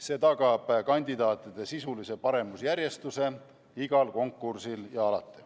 See tagab kandidaatide sisulise paremusjärjestuse igal konkursil ja alati.